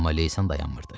Amma leysan dayanmırdı.